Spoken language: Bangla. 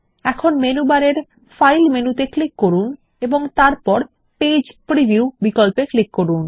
এখন মেনু বারে ফাইল মেনুতে ক্লিক করুন এবং তারপর পেজ প্রিভিউ বিকল্পে ক্লিক করুন